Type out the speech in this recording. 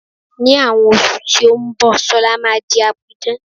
Ní àwọn oṣù tí ó ń bọ̀, Sola máa di apidán